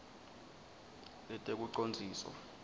letekucondziswa